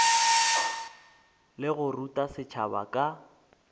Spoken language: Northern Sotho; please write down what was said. le go ruta setšhaba ka